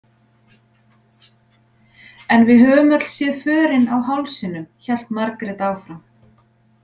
En við höfum öll séð förin á hálsinum, hélt Margrét áfram.